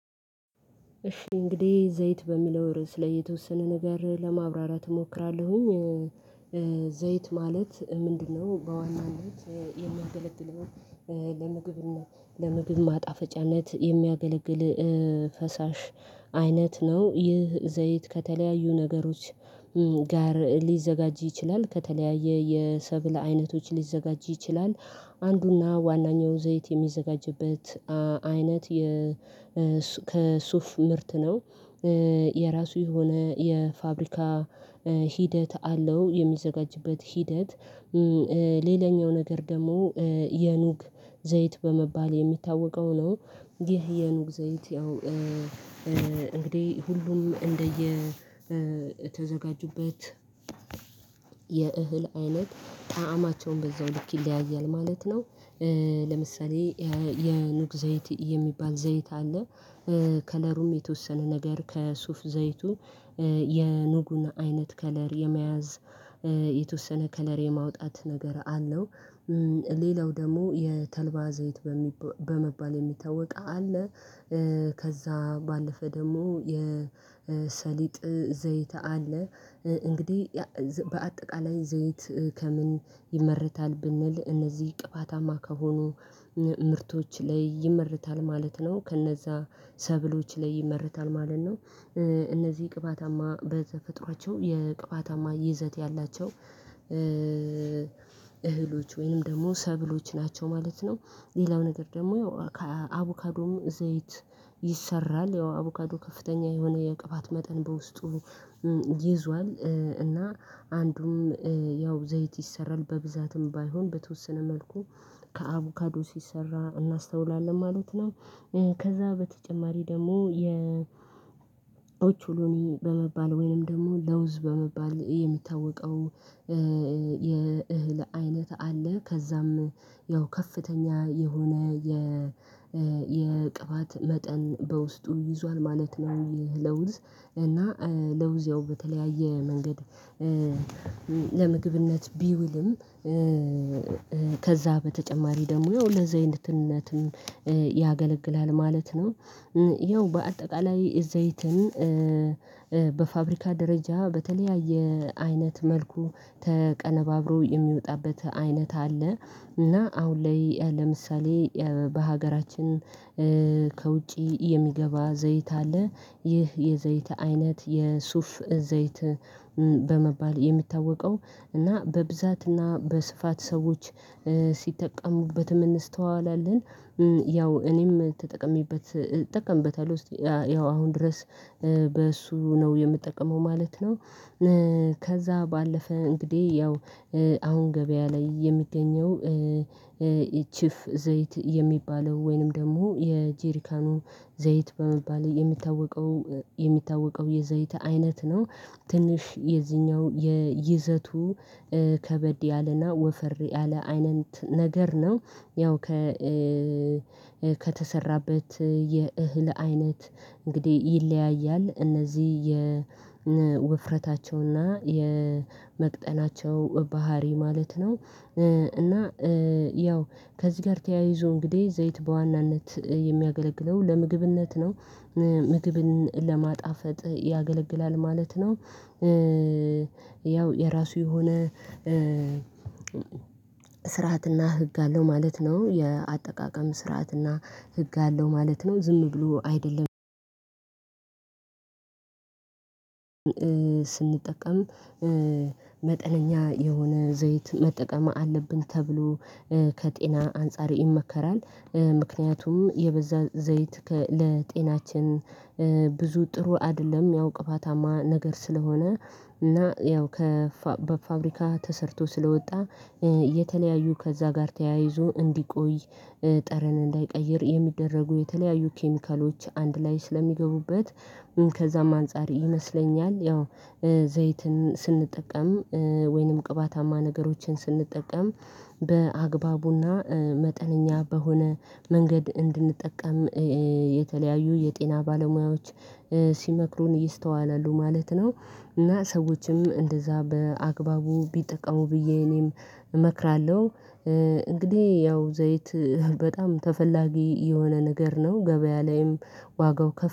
እሺ እንግዲህ ዘይት በሚለው ርዕስ ላይ የተወሰነ ነገር ለማብራራት እሞክራለሁኝ። ዘይት ማለት ምንድነው? በዋናነት የሚያገለግለው ለምግብ ለምግብ ማጣፈጫነት የሚያገለግል ፈሳሽ አይነት ነው። ይህ ዘይት ከተለያዩ ነገሮች ጋር ሊዘጋጅ ይችላል ከተለያየ የሰብል አይነቶች ሊዘጋጅ ይችላል። አንዱና ዋናኛው ዘይት የሚዘጋጅበት አይነት ከሱፍ ምርት ነው የራሱ የሆነ የፋብሪካ ሂደት አለው የሚዘጋጅበት ሂደት። ሌላኛው ነገር ደግሞ የኑግ ዘይት በመባል የሚታወቀው ነው። ይሄ የኑግ ዘይት ያው እንግዲህ ሁሉም እንደየ የተዘጋጁበት የእህል አይነት ጣዕማቸውን በዛው ልክ ይለያያል ማለት ነው። ለምሳሌ የኑግ ዘይት የሚባል ዘይት አለ ከለሩም የተወሰነ ነገር ከሱፍ ዘይቱ የኑጉን አይነት ከለር የመያዝ የተወሰነ ከለር የማውጣት ነገር አለው። ሌላው ደግሞ የተልባ ዘይት በመባል የሚታወቅ አለ። ከዛ ባለፈ ደግሞ የሰሊጥ ዘይት አለ። እንግዲህ በአጠቃላይ ዘይት ከምን ይመርታል ብንል እነዚህ ቅባታማ ከሆኑ ምርቶች ላይ ይመርታል ማለት ነው ከነዛ ሰብሎች ላይ ይመርታል ማለት ነው። እነዚህ ቅባታማ በተፈጥሯቸው የቅባታማ ይዘት ያላቸው እህሎች ወይንም ደግሞ ሰብሎች ናቸው ማለት ነው። ሌላው ነገር ደግሞ አቮካዶም ዘይት ይሰራል ያው አቡካዶ ከፍተኛ የሆነ የቅባት መጠን በውስጡ ይዟል እና አንዱም ያው ዘይት ይሰራል በብዛትም ባይሆን በተወሰነ መልኩ ከአቡካዶ ሲሰራ እናስተውላለን ማለት ነው። ከዛ በተጨማሪ ደግሞ ኦቾሎኒ በመባል ወይንም ደግሞ ለውዝ በመባል የሚታወቀው የእህል አይነት አለ ከዛም ያው ከፍተኛ የሆነ የቅባት መጠን በውስጡ ይዟል ማለት ነው። ይህ ለውዝ እና ለውዝ ያው በተለያየ መንገድ ለምግብነት ቢውልም ከዛ በተጨማሪ ደግሞ ለዘይነትነትም ያገለግላል ማለት ነው። ይኸው በአጠቃላይ ዘይትን በፋብሪካ ደረጃ በተለያየ አይነት መልኩ ተቀነባብሮ የሚወጣበት አይነት አለ። እና አሁን ላይ ለምሳሌ በሀገራችን ከውጪ የሚገባ ዘይት አለ ይህ የዘይት አይነት የሱፍ ዘይት በመባል የሚታወቀው እና በብዛትና በስፋት ሰዎች ሲጠቀሙበት እንስተዋላለን። ያው እኔም ተጠቀሜበት እጠቀምበታለሁ እስቲ ያው አሁን ድረስ በእሱ ነው የምጠቀመው ማለት ነው። ከዛ ባለፈ እንግዲህ ያው አሁን ገበያ ላይ የሚገኘው ኢችፍ ዘይት የሚባለው ወይንም ደግሞ የጄሪካኑ ዘይት በመባሌ የሚታወቀው የሚታወቀው የዘይት አይነት ነው። ትንሽ የዚህኛው የይዘቱ ከበድ ያለና ወፈር ያለ አይነት ነገር ነው ያው ከተሰራበት የእህል አይነት እንግዲህ ይለያያል እነዚህ የውፍረታቸውና የመቅጠናቸው ባህሪ ማለት ነው። እና ያው ከዚህ ጋር ተያይዞ እንግዲህ ዘይት በዋናነት የሚያገለግለው ለምግብነት ነው ምግብን ለማጣፈጥ ያገለግላል ማለት ነው። ያው የራሱ የሆነ ስርዓትና ህግ አለው ማለት ነው የአጠቃቀም ስርዓትና ህግ አለው ማለት ነው። ዝም ብሎ አይደለም ስንጠቀም መጠነኛ የሆነ ዘይት መጠቀም አለብን ተብሎ ከጤና አንፃር ይመከራል። ምክንያቱም የበዛ ዘይት ለጤናችን ብዙ ጥሩ አይደለም ያው ቅባታማ ነገር ስለሆነ እና ያው ከፋብሪካ ተሰርቶ ስለወጣ የተለያዩ ከዛ ጋር ተያይዞ እንዲቆይ ጠረን እንዳይቀይር የሚደረጉ የተለያዩ ኬሚካሎች አንድ ላይ ስለሚገቡበት ከዛም አንፃር ይመስለኛል። ያው ዘይትን ስንጠቀም ወይንም ቅባታማ ነገሮችን ስንጠቀም በአግባቡና መጠነኛ በሆነ መንገድ እንድንጠቀም የተለያዩ የጤና ባለሙያዎች ሲመክሩን ይስተዋላሉ ማለት ነው። እና ሰዎችም እንደዛ በአግባቡ ቢጠቀሙ ብዬ እኔም እመክራለሁ። እንግዲህ ያው ዘይት በጣም ተፈላጊ የሆነ ነገር ነው ገበያ ላይም ዋጋው ከፍ